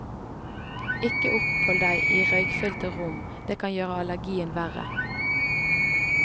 Ikke opphold deg i røykfylte rom, det kan gjøre allergien verre.